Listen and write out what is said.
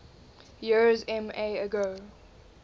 years ma ago